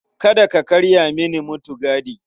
Kada ka karya mini mutigadi.